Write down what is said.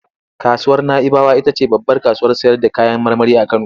Kasuwar Na'ibawa ita ce babbar kasuwar sayarda kayan marmari a Kano.